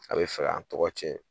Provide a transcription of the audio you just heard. A bɛ fɛ fɛ k'an tɔgɔ tiɲɛ